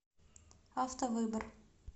автовыбор